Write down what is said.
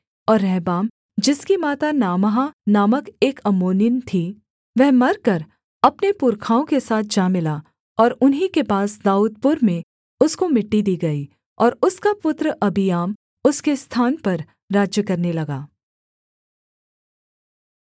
और रहबाम जिसकी माता नामाह नामक एक अम्मोनिन थी वह मरकर अपने पुरखाओं के साथ जा मिला और उन्हीं के पास दाऊदपुर में उसको मिट्टी दी गई और उसका पुत्र अबिय्याम उसके स्थान पर राज्य करने लगा